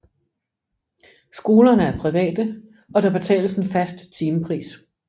Skolerne er private og der betales en fast timepris